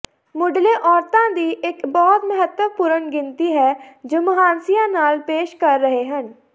ਮੁਢਲੇ ਔਰਤਾਂ ਦੀ ਇੱਕ ਬਹੁਤ ਮਹੱਤਵਪੂਰਨ ਗਿਣਤੀ ਹੈ ਜੋ ਮੁਹਾਂਸਿਆਂ ਨਾਲ ਪੇਸ਼ ਕਰ ਰਹੇ ਹਨ